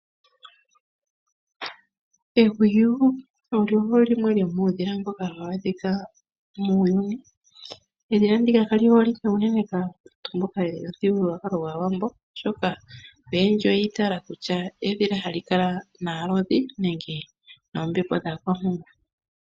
Ehwiyu olyo limwe lyomuudhila mboka hawu adhika muuyuni. Edhila ndika kali holike unene kwaamboka yomuthigululwakalo gwaawambo oshoka oyendji oyi itaaala kutya edhila hali kala naalodhi nenge noombepo dhaakwampungu.